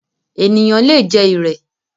Ènìyàn le jẹ “ ìrẹ̀”.